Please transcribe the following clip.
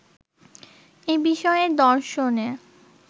এ বিষয়ে দর্শনে